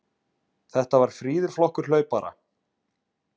Þetta var fríður flokkur hlaupara.